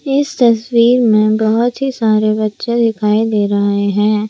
इस तस्वीर में बहुत ही सारे बच्चे दिखाई दे रहे हैं।